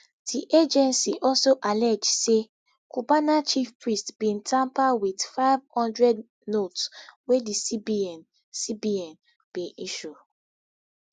di agency also allege say cubana chief priest bin tamper wit nfive hundred notes wey di cbn cbn bin issue